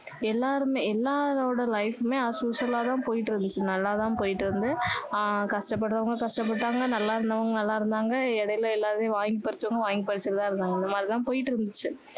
எல்லாருமே எல்லாரோட life உமே as usual ஆ தான் போயிட்டு இருந்துச்சு நல்லா தான் போயிட்டு இருந்து ஆஹ் கஷ்ட படுறவங்க கஷ்ட பட்டவங்க நல்லா இருந்தவங்க நல்லா இருந்தாங்க இடையில எல்லாருமே வாங்கி பறிச்சவங்க வாங்கி பறிச்சிட்டு தான் இருந்தாங்க அந்த மாதிரி தான் போயிட்டு இருந்திச்சு